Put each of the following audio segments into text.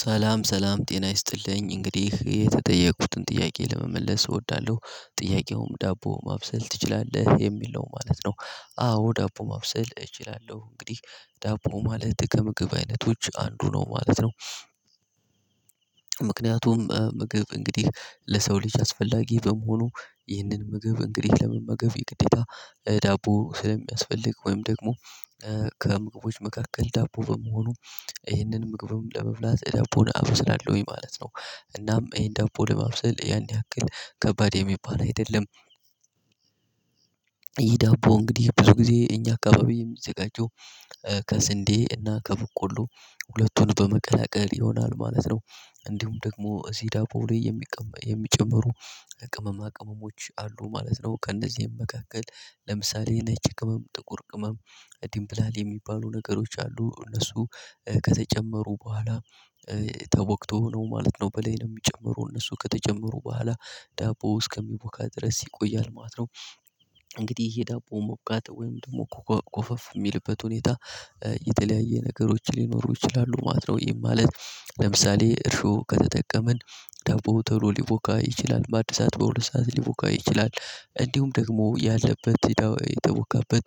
ሰላም ሰላም ጤና ይስጥልኝ እንግዲህ የተጠየቅኩትን ጥያቄ ለመመለስ እወዳለሁ ጥያቄውም ዳቦ ማብሰል ትችላለህ የሚል ነው ማለት ነው። አዎ ዳቦ ማብሰል እችላለሁ እንግዲህ ዳቦ ማለት ከምግብ አይነቶች አንዱ ነው ማለት ነው። ምክንያቱም ምግብ እንግዲህ ለሰው ልጅ አስፈላጊ በመሆኑ። ይህንን ምግብ እንግዲህ ለመመገብ የግዴታ ዳቦ ስለሚያስፈልግ ወይም ደግሞ ከምግቦች መካከል ዳቦ በመሆኑ ይህንን ምግብም ለመብላት ዳቦን አብስላለሁኝ ማለት ነው። እናም ይሄን ዳቦ ለማብሰል ያን ያክል ከባድ የሚባል አይደለም። ይህ ዳቦ እንግዲህ ብዙ ጊዜ እኛ አካባቢ የሚዘጋጀው ከስንዴ እና ከበቆሎ ሁለቱን በመቀላቀል ይሆናል ማለት ነው። እንዲሁም ደግሞ እዚህ ዳቦ ላይ የሚጨመሩ ቅመማ ቅመሞች አሉ ማለት ነው። ከእነዚህም መካከል ለምሳሌ ነጭ ቅመም ጥቁር ቅመም ዲምብላል የሚባሉ ነገሮች አሉ። እነሱ ከተጨመሩ በኋላ ተቦክቶ ነው ማለት ነው። በላይ የሚጨምሩ እነሱ ከተጨመሩ በኋላ ዳቦ እስከሚቦካ ድረስ ይቆያል ማለት ነው። እንግዲህ ይሄ ዳቦ ሞቃት ወይም ደግሞ እኮ ኮፈፍ የሚልበት ሁኔታ የተለያየ ነገሮች ሊኖሩ ይችላሉ ማለት ነው። ይህም ማለት ለምሳሌ እርሾ ከተጠቀምን ዳቦ ተሎ ሊቮካ ይችላል በአንድ ሰዓት በሁለት ሰዓት ሊቮካ ይችላል እንዲሁም ደግሞ ያለበት የተቦካበት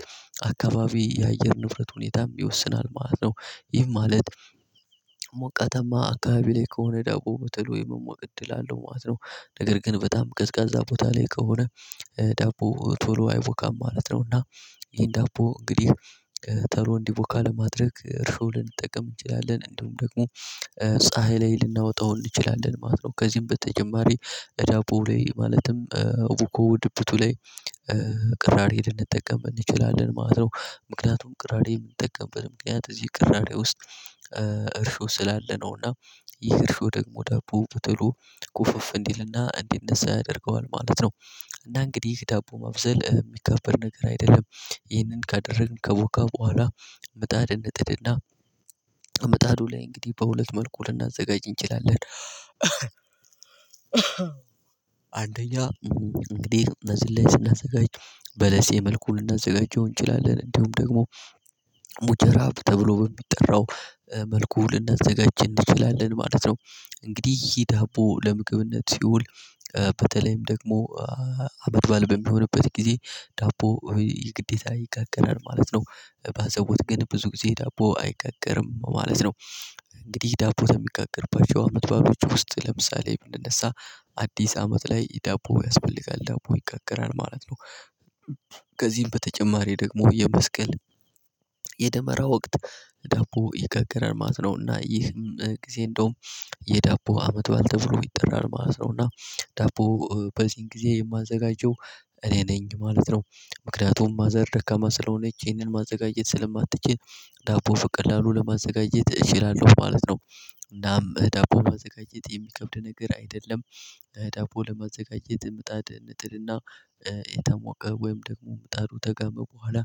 አካባቢ የአየር ንፍረት ሁኔታም ይወስናል ማለት ነው። ይህም ማለት ሞቃታማ አካባቢ ላይ ከሆነ ዳቦ በተሎ የመሞቅ እድል አለው ማለት ነው። ነገር ግን በጣም ቀዝቃዛ ቦታ ላይ ከሆነ ዳቦ ቶሎ አይቮካም ማለት ነው። እና ይሄን ዳቦ እንግዲህ ተሎ እንዲቮካ ለማድረግ እርሾ ልንጠቀም እንችላለን እንደውም ደግሞ ፀሀይ ላይ ልናወጣው እንችላለን ማለት ነው። ከዚህም በተጨማሪ እዳቦው ላይ ማለትም እቡኮው ድብቱ ላይ ቅራሪ ልንጠቀም እንችላለን ማለት ነው። ምክንያቱም ቅራሪ የምንጠቀምበት ምክንያት እዚህ ቅራሬ ውስጥ እርሾ ስላለ ነው። እና ይህ እርሾ ደግሞ ዳቦ በተሎ ኩፍፍ እንዲልና እንዲነሳ ያደርገዋል ማለት ነው። እና እንግዲህ ይህ ዳቦ ማብሰል የሚካበድ ነገር አይደለም። ይህንን ካደረግን ከቦካ በኋላ ምጣድ እንጥድና ምጣዱ ላይ እንግዲህ በሁለት መልኩ ልናዘጋጅ እንችላለን። አንደኛ እንግዲህ እነዚህን ላይ ስናዘጋጅ በለሴ መልኩ ልናዘጋጀው እንችላለን እንዲሁም ደግሞ ሙጀራ ተብሎ በሚጠራው መልኩ ልናዘጋጅ እንችላለን ማለት ነው። እንግዲህ ይህ ዳቦ ለምግብነት ሲውል በተለይም ደግሞ አመድባል በሚሆንበት ጊዜ ዳቦ ይህ ግዴታ ይጋገራል ማለት ነው። ባዛቦት ቀን ብዙ ጊዜ ዳቦ አይጋገርም ማለት ነው። እንግዲህ ዳቦ ተሚጋገርባቸው አመት ባሎች ውስጥ ለምሳሌ ብንነሳ አዲስ አመት ላይ ዳቦ ያስፈልጋል ዳቦ ይጋገራል ማለት ነው። ከዚህም በተጨማሪ ደግሞ የመስቀል የደመራ ወቅት ዳቦ ይጋገራል ማለት ነው እና ይህን ጊዜ እንደውም የዳቦ አመት በዓል ተብሎ ይጠራል ማለት ነው። እና ዳቦ በዚህን ጊዜ የማዘጋጀው እኔ ነኝ ማለት ነው። ምክንያቱም ማዘር ደካማ ስለሆነች ይሄንን ማዘጋጀት ስለማትችል ዳቦ ፍቅላሉ ለማዘጋጀት እችላለሁ ማለት ነው። እናም ዳቦ ማዘጋጀት የሚከብድ ነገር አይደለም። ዳቦ ለማዘጋጀት ምጣድ እንጥድ እና የተሞቀ ወይም ደግሞ ምጣዱ ደገመ በኋላ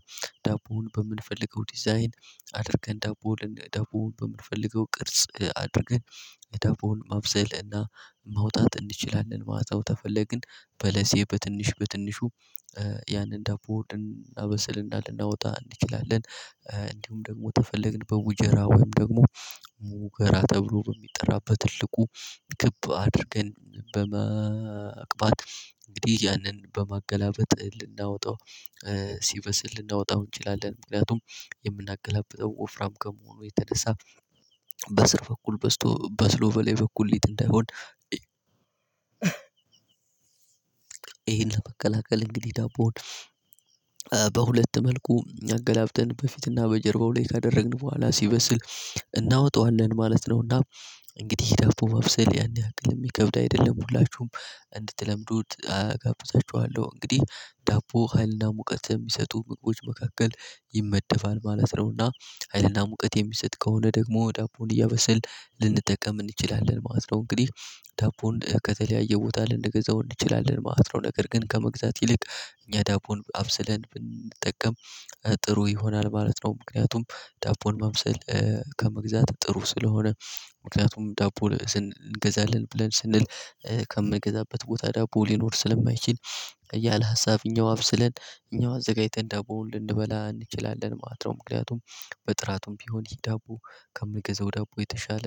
ዳቦውን በምንፈልገው ዲዛይን አድርገን ዳቦውን ዳቦውን በምንፈልገው ቅርጽ አድርገን እዳቦዉን ማብሰል እና ማውጣት እንችላለን ማለት ነው። ተፈለግን በለሴ በትንሽ በትንሹ ያንን ዳቦ ድን ልናበስል እና ልናወጣ እንችላለን። እንዲሁም ደግሞ ተፈለግን በውጀራ ወይም ደግሞ ሙከራ ተብሎ በሚጠራበት ትልቁ ግብ አድርገን በመቅባጥ እንግዲህ ያንን በማገላበጥ ልናወጣው ሲበስል ልናወጣው እንችላለን። ምክንያቱም የምናገላብጠው ወፍራም ከመሆኑ የተነሳ በስር በኩል በስቶ በስሎ ቨላይ በኩል ሊጥ እንዳይሆን። ይሄን ለመቀላቀል እንግዲህ ዳቦውን በሁለት መልኩ አገላብጠን በፊትና በጀርባው ላይ ካደረግን በኋላ ሲበስል እናወጣዋለን ማለት ነውና። እንግዲህ ዳቦ ማብሰል ያኔ ያክል የሚከብድ አይደለም ሁላችሁም እንድትለምዱት አጋብዛችኋለሁ። እንግዲህ ዳቦ ሀይልና ሙቀት ተሚሰጡ ምግቦች መካከል ይመደፋል ማለት ነውና ሀይልና ሙቀት የሚሰጥ ከሆነ ደግሞ ዳቦን እያበስልን ልንጠቀም እንችላለን ማለት ነው። እንግዲህ ዳቦን ከተለያየ ቦታ ልንገዛው እንችላለን ማለት ነው። ነገር ግን ከመግዛት ይልቅ እኛ ዳቦን አብስለን ብንጠቀም ጥሩ ይሆናል ማለት ነው። ምክንያቱም ዳቦን ማምሰል ከመግዛት ጥሩ ስለሆነ ምክንያቱም ዳቦ እንገዛለን ብለን ስንል ከምንገዛበት ቦታ ዳቦ ሊኖር ስለማይችል እያለ ሀሳብኛው አብስለን እኛው አዘጋጅተን ዳቦውን ልንበላ እንችላለን ማለት ነው። ምክንያቱም በጥራቱም ቢሆን ይሄ ዳቦ ከምንገዛው ዳቦ የተሻለ